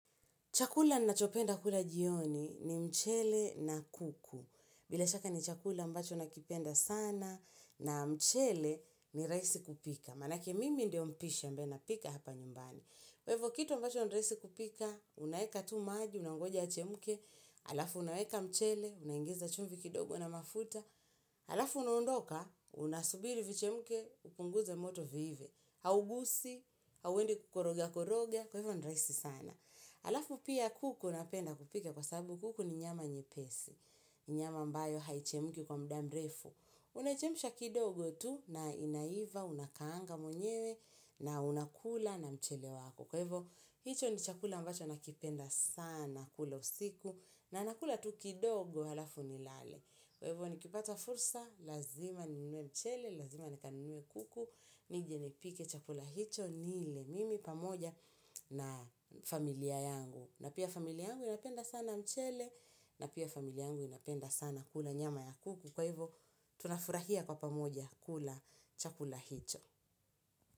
Chakula na chopenda kula jioni ni mchele na kuku. Bila shaka ni chakula ambacho na kipenda sana na mchele ni raisi kupika. Manake mimi ndio mpishi ambaye napika hapa nyumbani. Kwa ivo kitu ambacho ni raisi kupika, unaeka tu maji, unaongoja yachemke. Alafu unaweka mchele, unaingiza chumvi kidogo na mafuta. Alafu unaondoka, unasubiri vichemke, upunguze moto viive. Haugusi, hauendi kukoroga koroga, kwa ivo ni raisi sana. Alafu pia kuku napenda kupika kwa sababu kuku ni nyama nyepesi, ni nyama ambayo haichemki kwa mda mrefu. Unaichemsha kidogo tu na inaiva, unakaanga mwenyewe na unakula na mchele wako. Kwa ivo, hicho ni chakula ambacho nakipenda sana, kula usiku na nakula tu kidogo, alafu ni lale. Kwa hivyo nikipata fursa, lazima ninue mchele, lazima nikanunue kuku, nijenipike chakula hicho, nile mimi pamoja na familia yangu. Na pia familia yangu inapenda sana mchele, na pia familia yangu inapenda sana kula nyama ya kuku. Kwa hivyo tunafurahia kwa pamoja kula chakula hicho.